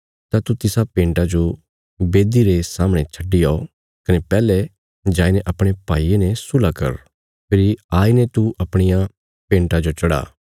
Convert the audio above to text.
तां तू तिसा भेंटा जो बेदी रे सामणे छड्डी औ कने पैहले जाईने अपणे भाईये ने सुलह कर फेरी आईने तू अपणिया भेंटा जो चढ़ा